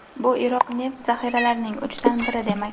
Bu Iroq neft zaxiralarining uchdan biri demak.